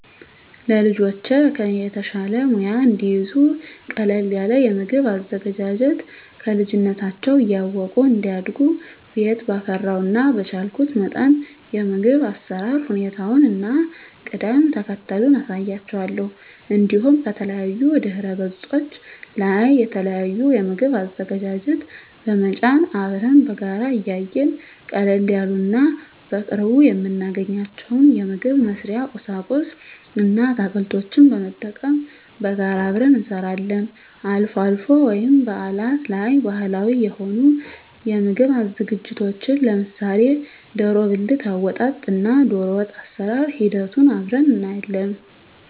ለልጆቼ ከኔ የተሻለ ሙያ እንዲይዙ ቀለል ያለ የምግብ አዘገጃጀት ከልጅነታቸው እያወቁ እንዲያድጉ ቤት ባፈራው እና በቻልኩት መጠን የምግብ አሰራር ሁኔታውን እና ቅደም ተከተሉን አሳያቸዋለሁ። እንዲሁም ከተለያዩ ድህረገጾች ላይ የተለያዩ የምግብ አዘገጃጀት በመጫን አብረን በጋራ እያየን ቀለል ያሉ እና በቅርቡ የምናገኛቸውን የምግብ መስሪያ ቁሳቁስ እና አትክልቶችን በመጠቀም በጋራ አብረን እንሰራለን። አልፎ አልፎ ወይም በአላት ላይ ባህላዊ የሆኑ የምግብ ዝግጅቶችን ለምሳሌ ደሮ ብልት አወጣጥ እና ደሮወጥ አሰራር ሂደቱን አብረን እናያለን።